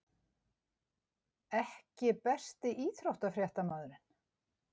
EKKI besti íþróttafréttamaðurinn??